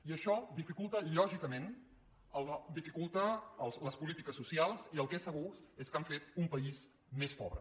i això dificulta lògicament les polítiques socials i el que és segur és que han fet un país més pobre